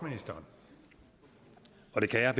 og det her